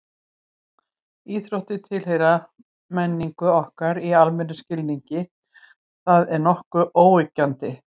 Íþróttir tilheyra menningu okkar í almennum skilningi, það er nokkuð óyggjandi.